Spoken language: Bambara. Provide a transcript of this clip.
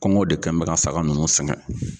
Kɔngɔ de kɛ bɛ ka saga nunnu sɛgɛn.